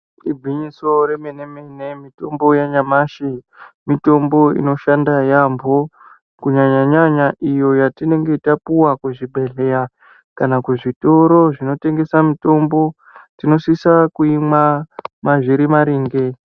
Igwinyiso remene-mene mitombo yanyamashi mitombo inoshanda yamho kunyanya-nyanya iyo yatinenge tapuwa kuzvibhedhlera kana kuzvitoro zvinotengesa mitombo tinosisa kuimwa zviri maringe.